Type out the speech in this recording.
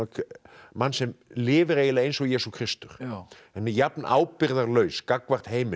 mann sem lifir eiginlega eins og Jesú Kristur en jafn ábyrgðarlaus gagnvart heiminum